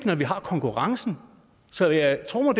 når vi har konkurrencen så jeg tror